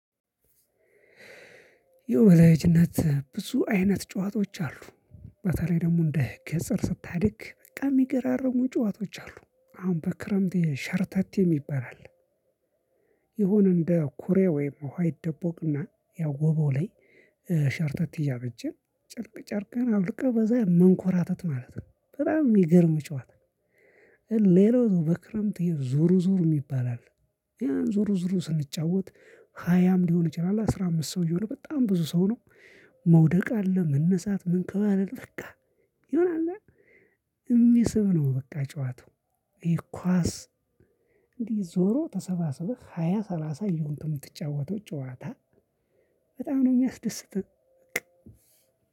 የወዳጅነት ብዙ አይነት ጨዋታዎች አሉ በተለይ ደግሞ እንደ ገጠር ስታድግ በቃ የሚገራርሙ ጨዋታዎች አሉ አሁን በክረምት ሸርተቴ ሚባል አለ። ይሁን እንደ ኩሬ ወይም ውሃ ይደቦቅና ያው ወባው ላይ ሸርተቴ እያቨጀን ጭርቅ ጭርቅን አውልህ በዛ መንኮራተት ማለት ነው። በጣም ሚገርም ጨዋታ። ሌላው በክረምት ዞሩ ዞሩ ሚባል አለ። ያን ዞሩ ዞሩ ስንጫወት ሃያም ሊሆን ይችላል አስራ አምስት ሰው እየሆነ በጣም ብዙ ሰው ነው። መውደቅ አለ መነሳት ምንከባለል በቃ ይሆነ አላ እሚስብ ነው በቃ ጨዋታው። ይሂ ኳስ እዲ ዞሮ ተሰባስበህ ሃያ ሰላሳ ይየሆንክ ምትጫወተው ጨዋታ። በጣም ነው ሚያስደስትህ።